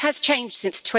It has changed since